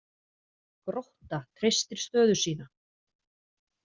Grótta treystir stöðu sína